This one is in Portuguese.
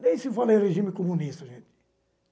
Nem se fala em regime comunista, gente.